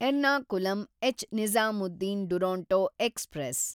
Ernakulam ಎಚ್.ನಿಜಾಮುದ್ದೀನ್ Duronto express